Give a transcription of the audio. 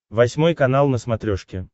восьмой канал на смотрешке